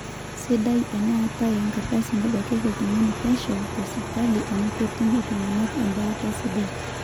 sidai eneetae enkardasi nabakieki iltung'anak pesho teseipitali amu ketum iltung'anak embaata sidai